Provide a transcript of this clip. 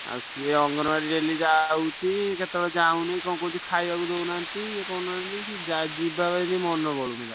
ସିଏ ଅଙ୍ଗନବାଡି daily ଯାଉଛି କେତବେଳେ ଯାଉନି କଣ କହୁଛି ଖାଇବାକୁ ଦଉନାହାନ୍ତି ଇଏ କରୁନାହାନ୍ତି ସିଏ ଯିବାପାଇଁ ବି ମନ କରୁନି।